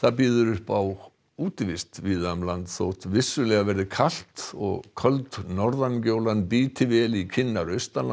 býður upp á útivist víða um land þótt vissulega verði kalt og köld bíti vel í kinnar